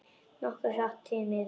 Nokkuð hratt, því miður.